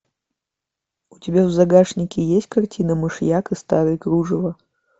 у тебя в загашнике есть картина мышьяк и старые кружева